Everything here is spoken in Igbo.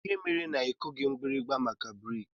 Kedụ ihe mere na ikughi mgbirimgba maka breeki?